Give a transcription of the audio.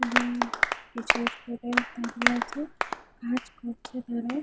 এ-ব-বং কিছু স্টুডেন্ট দাঁড়িয়ে আছে কাজ করছে তারা--